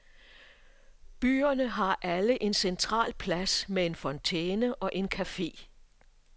Byerne har alle en central plads med en fontæne og en café.